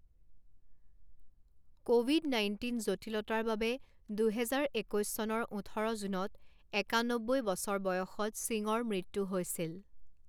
Covid nineteen জটিলতাৰ বাবে দুহেজাৰ একৈছ চনৰ ওঠৰ জুনত একান্নব্বৈ বছৰ বয়সত সিঙৰ মৃত্যু হৈছিল।